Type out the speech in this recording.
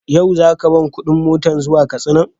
Yau za ka ban kuɗin motar zuwa Katsinan?